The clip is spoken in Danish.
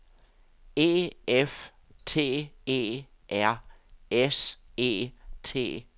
E F T E R S E T